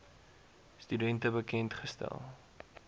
studente bekend gestel